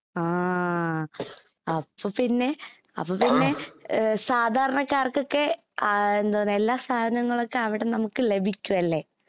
ആ, അപ്പൊ പിന്നെ അപ്പൊ പിന്നെ സാധാരണക്കാര്‍ക്കൊക്കെ എല്ലാ സാധനങ്ങളുമൊക്കെ അവിടെ നമുക്ക് ലഭിക്കും അല്ലേ.